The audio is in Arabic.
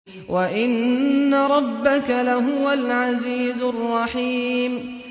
وَإِنَّ رَبَّكَ لَهُوَ الْعَزِيزُ الرَّحِيمُ